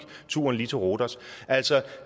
turen til rhodos altså